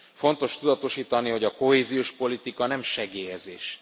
Fontos tudatosítani, hogy a kohéziós politika nem segélyezés.